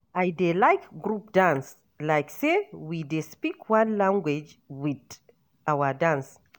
I dey like group dance, like sey we dey speak one language wit our dance.